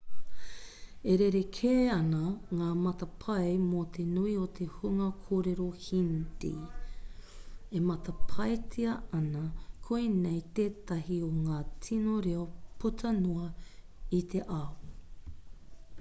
e rerekē ana ngā matapae mō te nui o te hunga kōrero hindi e matapaetia ana koinei tētahi o ngā tino reo puta noa i te ao